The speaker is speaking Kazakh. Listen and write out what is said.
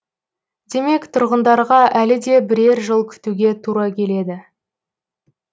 демек тұрғындарға әлі де бірер жыл күтуге тура келеді